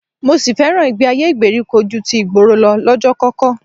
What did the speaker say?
Mo sì fẹ́ràn ìgbé-ayé ìgbèríko ju ti ìgboro lọ lọ́jọ́kọ́kọ́